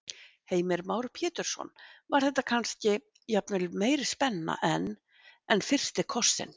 Heimir Már Pétursson: Var þetta kannski, jafnvel meiri spenna en, en fyrsti kossinn?